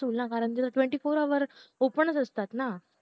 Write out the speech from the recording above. होईल ना कारण twenty foure hour open असता ना